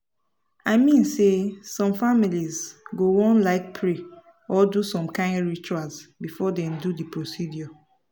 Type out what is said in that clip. i mean say some families go wan like pray or do some kain rituals before dem do the procedures.